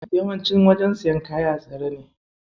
Yawanci wajen siyan kaya a tsare ne.